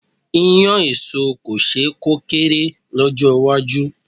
Iyán èso kò ṣe é kó kéré lọ́jọ́ iwájú.